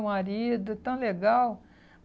O marido, tão legal.